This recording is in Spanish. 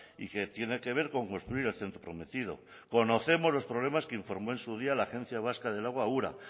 y que tiene que ver con construir el centro prometido conocemos los problemas que informó en su día la agencia vasca del agua ura